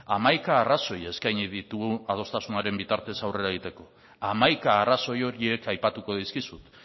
hamaika arrazoi eskaini ditugu adostasunaren bitartez aurrera egiteko hamaika arrazoi horiek aipatuko dizkizut